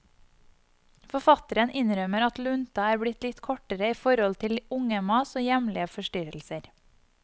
Forfatteren innrømmer at lunta er blitt litt kortere i forhold til ungemas og hjemlige forstyrrelser.